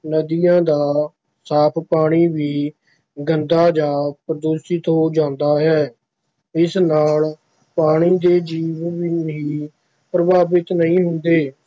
ਨਦੀਆਂ ਦਾ ਸਾਫ਼ ਪਾਣੀ ਵੀ ਗੰਦਾ ਜਾਂ ਪ੍ਰਦੂਸ਼ਿਤ ਹੋ ਜਾਂਦਾ ਹੈ, ਇਸ ਨਾਲ ਪਾਣੀ ਦੇ ਜੀਵ ਹੀ ਪ੍ਰਭਾਵਿਤ ਨਹੀਂ ਹੁੰਦੇ